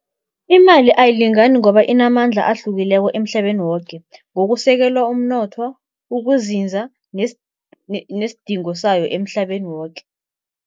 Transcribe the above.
Imali ayilingani ngoba inamandla ahlukileko emhlabeni woke, ngokusekelwa umnotho, ukuzinza nesidingo sayo emhlabeni woke.